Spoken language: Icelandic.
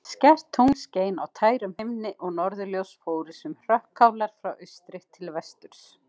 Skært tungl skein á tærum himni og norðurljós fóru sem hrökkálar frá austri til vesturs.